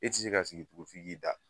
E tɛ se ka sigi tugu f'i k'i da